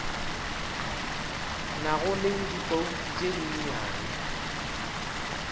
nago le dibouto tše dinnyane